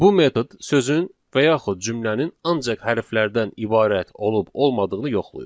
Bu metod sözün və yaxud cümlənin ancaq hərflərdən ibarət olub olmadığını yoxlayır.